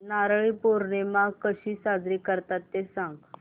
नारळी पौर्णिमा कशी साजरी करतात ते सांग